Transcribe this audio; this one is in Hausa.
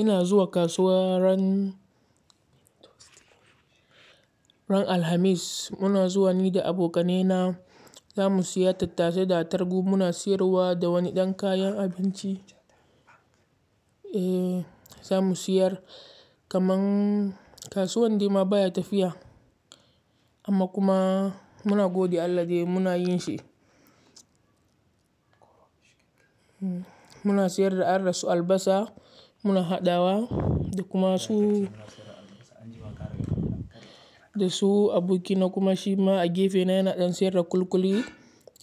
Ina zuwa kasuwa ran, ran Alhamis. Muna zuwa ni da abokanena zamu siya tattasai da attarugu muna siyarwa da wani ɗan kayan abinci. Eh zamu siyar kamar kasuwan de ma baya tafiya amma kuma muna gode Allah de muna yin shi. Muna siyar da ar rasu albasa muna haɗawa da kuma su, da su aboki na kuma shi ma a gefe na yana ɗan siyar da ƙulƙuli